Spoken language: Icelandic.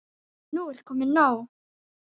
Nú er komið nóg!